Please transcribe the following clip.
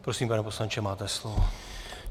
Prosím, pane poslanče, máte slovo.